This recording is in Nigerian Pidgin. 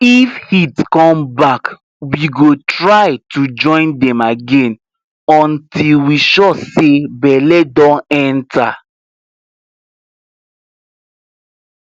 if heat come back we go try to join dem again until we sure say belle don enter